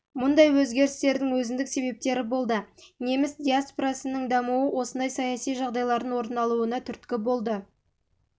мұндай өзгерістердің өзіндік себептері болды неміс диаспорасының дамуы осындай саяси жағдайлардың орын алуына түрткі болды бұл